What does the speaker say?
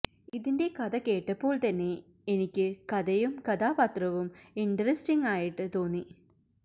ഇതിന്റെ കഥ കേട്ടപ്പോള് തന്നെ എനിക്ക് കഥയും കഥാപാത്രവും ഇന്ററസ്റ്റിംഗായിട്ട് തോന്നി